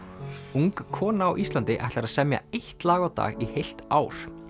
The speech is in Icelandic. ung kona á Íslandi ætlar að semja eitt lag á dag í heilt ár